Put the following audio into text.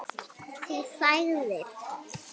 Þú þagðir.